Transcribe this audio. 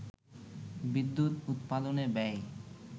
বিদ্যুৎ উৎপাদনে ব্যয়